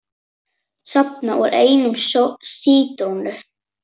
Safi úr einni sítrónu